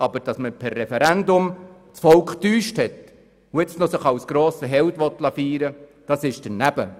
Aber dass man per Referendum das Volk getäuscht hat und sich nun noch als grossen Helden feiern lassen will, ist daneben.